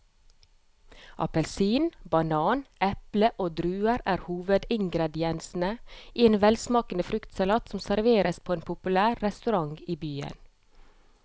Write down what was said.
Appelsin, banan, eple og druer er hovedingredienser i en velsmakende fruktsalat som serveres på en populær restaurant i byen.